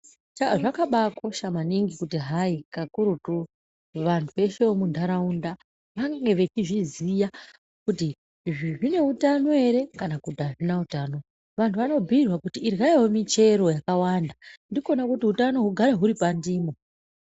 Zvakabakosha maningi kuti hayi kakurutu vanhu veshe vemuntaraunda vange vechizviziya kuti izvi zvine utano ere kana kuti hazvina utano. Vantu vanobhuyirwa kuti idyaiwo michero yakawanda ndikona kuti utano hugare huri pandimo.